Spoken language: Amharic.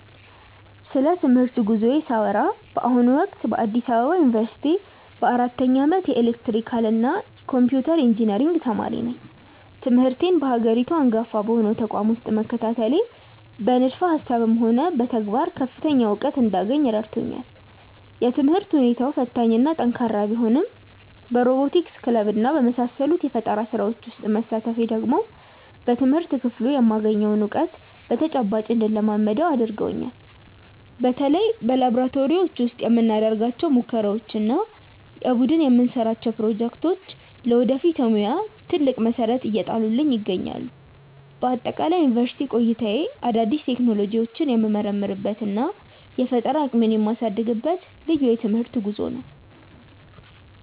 ስለ ትምህርት ጉዞዬ ሳወራ በአሁኑ ወቅት በአዲስ አበባ ዩኒቨርሲቲ በአራተኛ ዓመት የኤሌክትሪካልና ኮምፒውተር ኢንጂነሪንግ ተማሪ ነኝ። ትምህርቴን በሀገሪቱ አንጋፋ በሆነው ተቋም ውስጥ መከታተሌ በንድፈ ሃሳብም ሆነ በተግባር ከፍተኛ እውቀት እንዳገኝ ረድቶኛል። የትምህርት ሁኔታው ፈታኝና ጠንካራ ቢሆንም በሮቦቲክስ ክለብና በመሳሰሉት የፈጠራ ስራዎች ውስጥ መሳተፌ ደግሞ በትምህርት ክፍሉ የማገኘውን እውቀት በተጨባጭ እንድለማመደው አድርጎኛል። በተለይ በላብራቶሪዎች ውስጥ የምናደርጋቸው ሙከራዎችና የቡድን የምንሰራቸው ፕሮጀክቶች ለወደፊት የሙያ ትልቅ መሰረት እየጣሉልኝ ይገኛሉ። በአጠቃላይ የዩኒቨርሲቲ ቆይታዬ አዳዲስ ቴክኖሎጂዎችን የምመረምርበትና የፈጠራ አቅሜን የማሳድግበት ልዩ የትምህርት ጉዞ ነው።